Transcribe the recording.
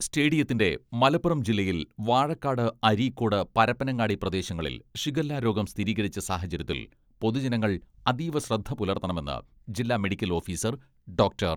സ്റ്റേഡിയത്തിന്റെ മലപ്പുറം ജില്ലയിൽ വാഴക്കാട്, അരീക്കോട്, പരപ്പനങ്ങാടി പ്രദേശങ്ങളിൽ ഷിഗല്ല രോഗം സ്ഥിരീകരിച്ച സാഹചര്യത്തിൽ പൊതുജനങ്ങൾ അതീവ ശ്രദ്ധ പുലർത്തണമെന്ന് ജില്ലാ മെഡിക്കൽ ഓഫീസർ ഡോക്ടർ